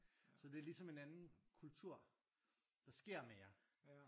Så det er ligesom en anden kultur. Der sker mere